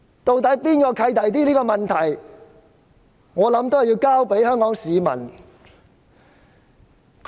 對於何者較"契弟"的問題，我認為要交由香港市民判斷。